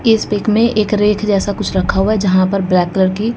इस पिक में एक रेख जैसा कुछ रखा हुआ है जहां पर ब्लैक कलर की--